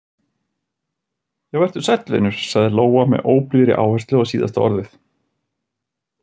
Já, vertu sæll, vinur, sagði Lóa með óblíðri áherslu á síðasta orðið.